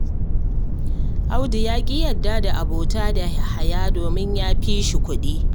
Audu ya ƙi yarda da abota da Yahaya saboda ya fi shi kuɗi